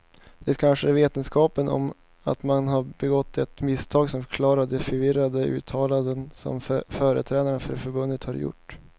Det kanske är vetskapen om att man har begått ett misstag som förklarar de förvirrade uttalanden som företrädare för förbundet har gjort.